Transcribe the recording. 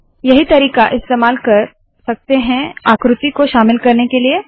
यही तरीका इस्तेमाल कर सकते है आकृति को शामिल करने के लिए